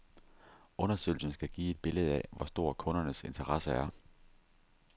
Undersøgelsen skal give et billede af, hvor stor kundernes interesse er.